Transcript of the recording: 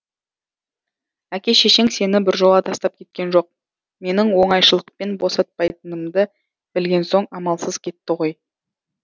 әке шешең сені біржола тастап кеткен жоқ менің оңайшылықпен босатпайтынымды білген соң амалсыз кетті ғой